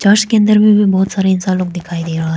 Church के अंदर में भी बहुत सारे इंसान लोग दिखाई दे रहा है।